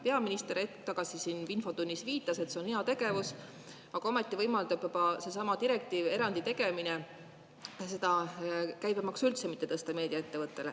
Peaminister hetk tagasi siin infotunnis viitas, et see on heategevus, aga ometi võimaldab juba seesama direktiivi erandi tegemine käibemaksu meediaettevõttele üldse mitte tõsta.